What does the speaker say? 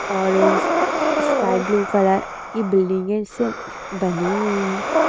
Orange sky blue colour की बिल्डिंगे इससे बनी हुई है।